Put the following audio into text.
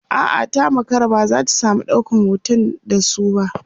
a'a ta makara ba zata samu ɗaukan hoton da su ba